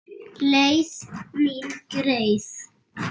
Leið mín greið.